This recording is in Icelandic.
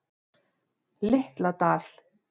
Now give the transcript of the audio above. Litla Dal